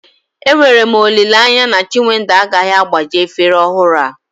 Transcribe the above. Enwere m olileanya na chinwendu agaghị agbaji efere ọhụrụ a